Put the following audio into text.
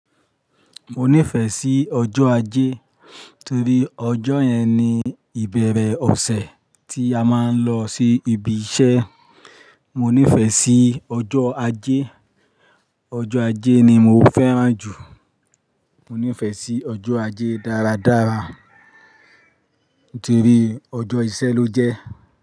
Mo nífẹ̀ẹ́ sí ọjọ́ ajé torí ọjọ́ yẹn ni ìbẹ̀rẹ̀ ọ̀sẹ̀ tí a máa ń lọ sí ibi iṣẹ́. Mo nífẹ̀ẹ́ sí ọjọ́ ajé, ọjọ́ ajé ni mo fẹ́ràn jù. Mo nífẹ̀ẹ́ sí ọjọ́ ajé dáradára torí ọjọ́ iṣẹ́ ló jẹ́